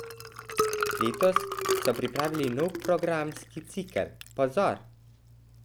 Letos so pripravili nov programski cikel Pozor!